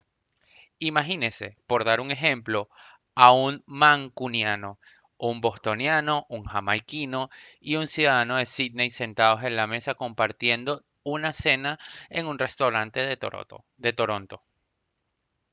imagínese por dar un ejemplo a un mancuniano un bostoniano un jamaiquino y un ciudadano de sídney sentados en la mesa compartiendo una cena en un restaurante de toronto